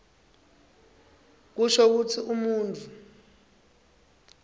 kusho kutsi umuntfu